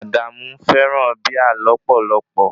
Adamu fẹràn Bíà lọ́pọ̀lọ́pọ̀.